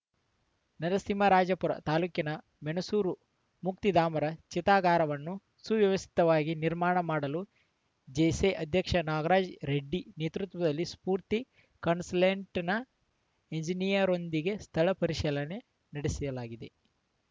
ನರಸಿಂಹರಾಜಪುರ ತಾಲೂಕಿನ ಮೆಣಸೂರು ಮುಕ್ತಿಧಾಮದ ಚಿತಾಗಾರವನ್ನು ಸುವ್ಯವಸ್ಥಿತವಾಗಿ ನಿರ್ಮಾಣ ಮಾಡಲು ಜೇಸಿ ಅಧ್ಯಕ್ಷ ನಾಗೇಶ್‌ ರೆಡ್ಡಿ ನೇತೃತ್ವದಲ್ಲಿ ಸ್ಪೂರ್ತಿ ಕನ್ಸಲ್ಟೆಂಟ್‌ನ ಎಂಜಿನಿಯರ್‌ರೊಂದಿಗೆ ಸ್ಥಳ ಪರಿಶೀಲನೆ ನಡಿಸಲಾಗಿದೆ